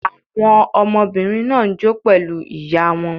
Àwọn ọmọbìnrin náà ń jó pẹ̀lú ìyá wọn.